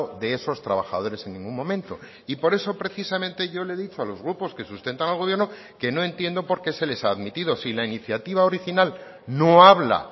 de esos trabajadores en ningún momento y por eso precisamente yo le he dicho a los grupos que sustentan al gobierno que no entiendo por qué se les ha admitido si la iniciativa original no habla